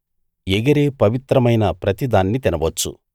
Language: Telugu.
ఎగిరే పవిత్రమైన ప్రతి దాన్నీ తినవచ్చు